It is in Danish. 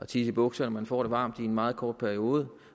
tisse i bukserne man får det varmt i en meget kort periode